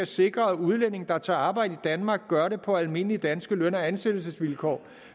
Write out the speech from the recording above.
sikre at udlændinge der tager arbejde i danmark gør det på almindelige danske løn og ansættelsesvilkår